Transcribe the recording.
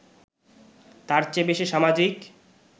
তার চেয়ে বেশি সামাজিক